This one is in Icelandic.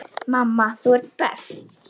Mamma, þú ert best.